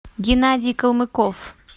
геннадий калмыков